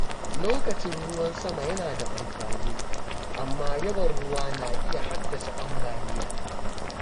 Lokacin ruwan sama yana da amfani, amma yawan ruwa na iya haddasa ambaliya.